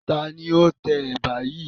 Taàní ó tẹ Ẹ̀bà yìí?